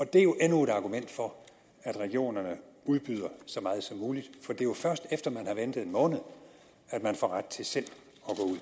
det er jo endnu et argument for at regionerne udbyder så meget som muligt for det er jo først efter at man har ventet en måned at man får ret til selv